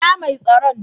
Inna Mai tsaron?